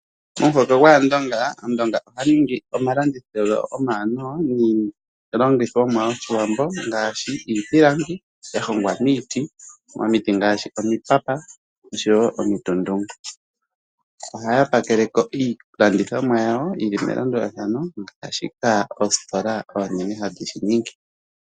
Omuhoko gwAandonga, Aandonga ohaya ningi omandithilo omawanawa niilandithomwa yOshiwambo ngaashi iipilangi ya hongwa miiti, momiti ngaashi omipapa osho wo mitutungu. Oha ya pakele ko iilandithomwa yawo yili melandulathano ngaashika oositola oonene hayi dhi shi ningi.